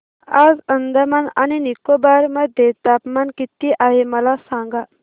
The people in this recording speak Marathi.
आज अंदमान आणि निकोबार मध्ये तापमान किती आहे मला सांगा